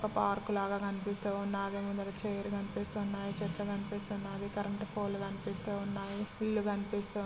ఒక పార్క్ లాగ కనిపిస్తూఉన్నది ముందర చెర్ కనిపిస్తున్నాయ్ చెట్లు కనిపిస్తున్నాది కరెంట్ ఫొలు కనిపిస్తున్నాయి ఇల్లు కనిపిస్తు--